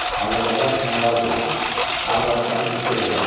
Alabaxta komalar quraq, arvad-uşağı köçürək ora.